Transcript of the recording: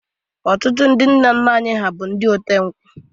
Otụtụ ndi nna nna anyi ha bụ ote nkwụ